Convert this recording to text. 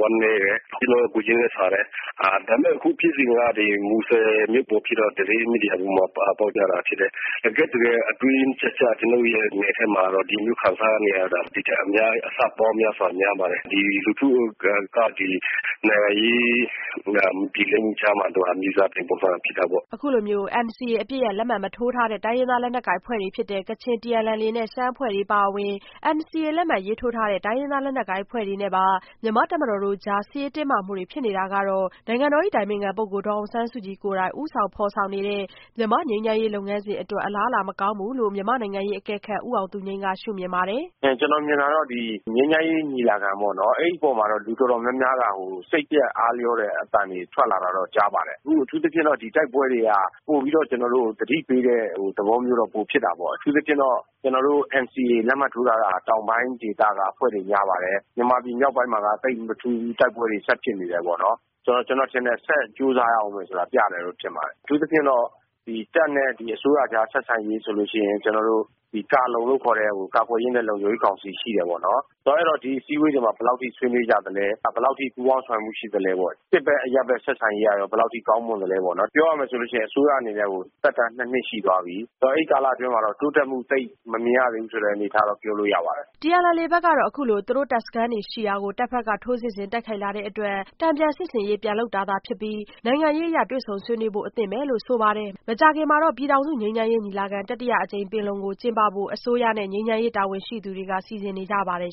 ဝမ်းနည်းတယ် ကျနော်တို့ ကိုယ်ချင်းလည်းစာတယ်။ ဒါပေမဲ့ အခုဖြစ်စဉ်က မူဆယ်မြို့ပေါ်မှာဖြစ်တော့-သတင်းမီဒီယာတွေပေါ်မှာပါတယ် တကယ့်တကယ် အတွင်းကျကျ ကျနော်တို့ရဲ့ နယ်ထဲမှာတော့-ပြည်သူလူထု ခံစားနေရတာကတော့-ဒီ့ထက်အများကြီး အဆပေါင်းများစွာ များပါတယ်။ လူထုက နိုင်ငံရေးမပြေလည်မှုကြားမှာ မြေစာပင်ပုံစံဖြစ်တာပေါ့။" အခုလို NCA အပစ်ရပ်လက်မှတ်မထိုးထားတဲ့ တိုင်းရင်းသားလက်နက်ကိုင်အဖွဲ့တွေဖြစ်တဲ့ ကချင်၊ TNLA နဲ့ ရှမ်းအဖွဲ့တွေအပါအဝင် NCA လက်မှတ်ထိုးထားတဲ့ တိုင်းရင်းသားလက်နက်ကိုင်အဖွဲ့တွေနဲ့ပါ မြန်မာ့တပ်မတော်တို့ကြား စစ်ရေးတင်းမာမှုတွေဖြစ်နေတာကတော့ နိုင်ငံတော်အတိုင်ပင်ခံပုဂ္ဂိုလ် ဒေါ်အောင်ဆန်းစုကြည်ကိုယ်တိုင် ဦးဆောင်ဖော်ဆောင်နေတဲ့ မြန်မာ့ငြိမ်းချမ်းရေးလုပ်ငန်းစဉ်အတွက် အလားအလာမကောင်းဘူးလို့ မြန်မာ့နိုင်ငံရေးအကဲခတ်ဦးအောင်သူငြိမ်းက ရှု့မြင်ပါတယ်။ " ကျနော်မြင်တာကတော့ ဒီငြိမ်းချမ်းရေးညီလာခံပေါ့နော်။ အဲ့ဒီ့အပေါ်မှာ လူတော်တော်များများက စိတ်ပျက်အားလျော့တဲ့အသံတွေ ထွက်လာတာပေါ့နော်။ အထူးသဖြင့် ဒီနေ့လိုတိုက်ပွဲတွေက ပိုပြီးတော့ သတိပေးတဲ့ သဘောမျိုး ပိုဖြစ်တာပေါ့ အထူးသဖြင့် NCA လက်မှတ်ထိုးထားတာက တောင်ပိုင်းအဖွဲ့တွေများပါတယ်။ မြန်မာပြည် မြောက်ပိုင်းမှာက သိပ်မထူးဘူး တိုက်ပွဲ ဆက်တိုက်ဖြစ်နေတယ်။ ဆိုတော့ ကျနော်ထင်တယ် ငြိမ်းချမ်းရေးအတွက် ဆက်ပြီးတော့ ကြိုးစားရဦးမယ်ဆိုတာ ပြနေတဲ့သဘောပဲ။အထူးသဖြင့်တော့ တပ်နဲ့ အစိုးရကြား ဆက်ဆံရေးဆိုရင် ကာလုံဆိုတဲ့ ကာကွယ်ရေးနဲ့ လုံခြုံရေးကောင်စီရှိတယ်ပေါ့နော်။ ဆိုတော့ ဒီအစည်းအဝေးတွေမှာ ဘယ်လောက်အထိ ဆွေးနွေးကြသလဲ ဘယ်လောက်အထိ ပူးပေါင်းဆောင်ရွက်မှုရှိသလဲပေါ့။ နောက် စစ်ဘက် အရပ်ဘက် ဆက်ဆံရေးက ဘယ်လောက်အထိ ကောင်းမွန်သလဲပေါ့။ ပြောရမယ်ဆိုရင် အစိုးရအနေနဲ့ သက်တမ်းက နှစ်နှစ်အထိရှိသွားပြီ။ ဆိုတော့ အဲ့ဒီကာလအတွင်းမှာတော့ တိုးတက်မှု သိပ်မမြင်ရသေးဘူးဆိုတဲ့အနေအထားကို ပြောလို့ရပါတယ်။" TNLA ဘက်ကတော့ အခုလို သူတို့တပ်စခန်းတွေရှိရာကို တပ်ဘက်က ထိုးစစ်ဆင် တိုက်ခိုက်လာတဲ့အတွက် တန်ပြန်စစ်ဆင်ရေး ပြန်လုပ်တာသာဖြစ်ပြီး နိုင်ငံရေးအရ တွေ့ဆုံဆွေးနွေးဖို့ အသင့်ပါပဲလို့ ဆိုပါတယ်။ မကြာခင်မှာတော့ ပြည်ထောင်စုငြိမ်းချမ်းရေးညီလာခံ တတိယအကြိမ်ပင်လုံကို ကျင်းပဖို့ အစိုးရနဲ့ ငြိမ်းချမ်းရေးတာဝန်ရှိသူတွေက စီစဉ်နေကြပါတယ်